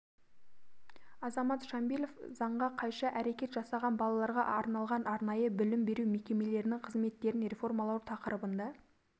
азамат шамбилов заңға қайшы әрекет жасаған балаларға арналған арнайы білім беру мекемелерінің қызметтерін реформалау тақырыбында